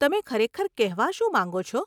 તમે ખરેખર કહેવા શું માંગો છો?